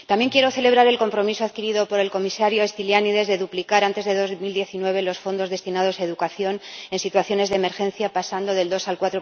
También quiero celebrar el compromiso adquirido por el comisario Stylianides de duplicar antes de 2019 los fondos destinados a educación en situaciones de emergencia, pasando del 2 al